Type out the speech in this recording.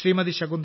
Shakuntala